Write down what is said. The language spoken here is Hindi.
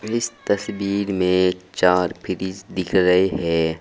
इस तस्वीर में चार फ्रिज दिख रहे है।